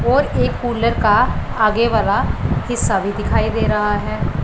और एक कुलर का आगे वाला हिस्सा भी दिखाई दे रहा है।